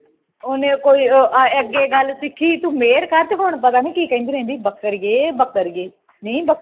ਉਹਨੇ ਕੋਈ ਅਹ ਅੱਗੇ ਗੱਲ ਸਿੱਖੀ ਤੂੰ ਮਿਹਰ ਕਰ ਤੇ ਹੁਣ ਪਤਾ ਨਹੀਂ ਕਿਹ ਕਹਿੰਦੀ ਰਹਿੰਦੀ ਬੱਕਰੀ ਹੈ ਬੱਕਰੀ ਹੈ ਨੀ ਬੱਕਰੀ